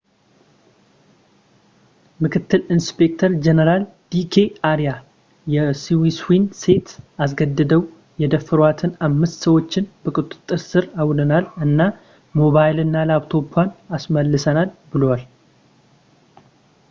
ምክትል ኢንስፔክተር ጀኔራል ዲ ኬ አርያ የስዊስዋን ሴት አስገድደው የደፈሯትን አምስት ሰዎችን በቁጥጥር ሥር አውለናል እና ሞባይልና ላፕቶፗን አስመልሰናል ብለዋል